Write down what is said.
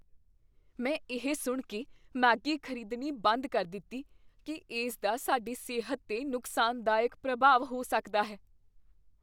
ਮੈਂ ਇਹ ਸੁਣ ਕੇ ਮੈਗੀ ਖ਼ਰੀਦਣੀ ਬੰਦ ਕਰ ਦਿੱਤੀ ਕੀ ਇਸ ਦਾ ਸਾਡੀ ਸਿਹਤ 'ਤੇ ਨੁਕਸਾਨਦਾਇਕ ਪ੍ਰਭਾਵ ਹੋ ਸਕਦਾ ਹੈ।